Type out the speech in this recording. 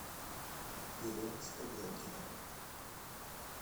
елена скобелкина